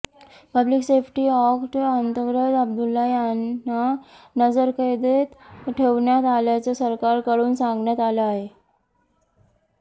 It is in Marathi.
पब्लिक सेफ्टी अॅक्ट अंतर्गत अब्दुल्ला यांना नजरकैदेत ठेवण्यात आल्याचं सरकारकडून सांगण्यात आलं आहे